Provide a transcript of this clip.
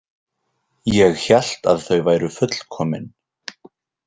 Ég hélt að þau væru fullkomin.